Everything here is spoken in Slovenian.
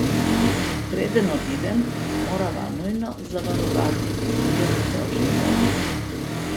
Preden odidem, morava nujno zavarovati izvir Božje vode.